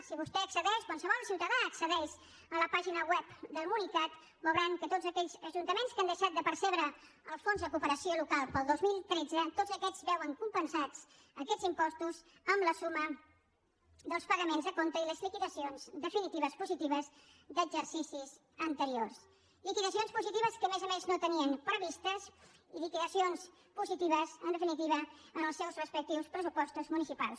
si vostè accedeix qualsevol ciutadà accedeix a la pàgina web del municat veuran que tots aquells ajuntaments que han deixat de percebre el fons de cooperació local per al dos mil tretze tots aquests veuen compensats aquests impostos amb la suma dels pagaments a compte i les liquidacions definitives positives d’exercicis anteriors liquidacions positives que a més a més no tenien previstes i liquidacions positives en definitiva en els seus respectius pressupostos municipals